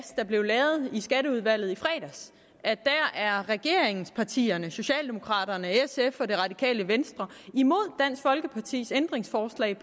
der blev lavet i skatteudvalget i fredags var regeringspartierne socialdemokraterne sf og det radikale venstre imod dansk folkepartis ændringsforslag